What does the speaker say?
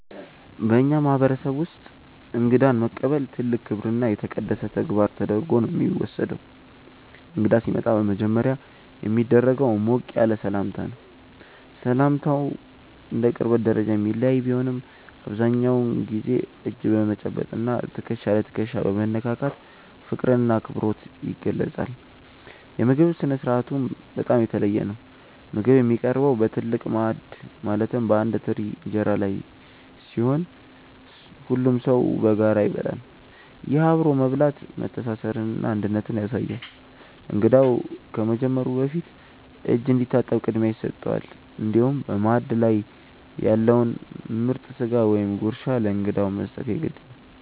በእኛ ማህበረሰብ ውስጥ እንግዳን መቀበል ትልቅ ክብርና የተቀደሰ ተግባር ተደርጎ ነው የሚወሰደው። እንግዳ ሲመጣ በመጀመሪያ የሚደረገው ሞቅ ያለ ሰላምታ ነው። ሰላምታው እንደ ቅርበት ደረጃ የሚለያይ ቢሆንም፣ አብዛኛውን ጊዜ እጅ በመጨበጥ እና ትከሻ ለትከሻ በመነካካት ፍቅርና አክብሮት ይገለጻል። የምግብ ስነ-ስርዓቱም በጣም የተለየ ነው። ምግብ የሚቀርበው በትልቅ ማዕድ ማለትም በአንድ ትልቅ እንጀራ ላይ ሲሆን፣ ሁሉም ሰው በጋራ ይበላል። ይህ አብሮ መብላት መተሳሰርንና አንድነትን ያሳያል። እንግዳው ከመጀመሩ በፊት እጅ እንዲታጠብ ቅድሚያ ይሰጠዋል፤ እንዲሁም በማዕድ ላይ ያለውን ምርጥ ስጋ ወይም ጉርሻ ለእንግዳው መስጠት የግድ ነው።